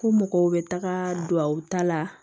Ko mɔgɔw bɛ taga du ta la